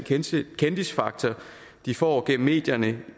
kendisfaktor de får gennem medierne